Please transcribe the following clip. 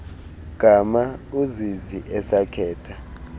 gama uzizi esakhetha